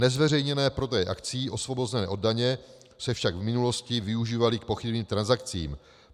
Nezveřejněné prodeje akcií osvobozené od daně se však v minulosti využívaly k pochybným transakcím.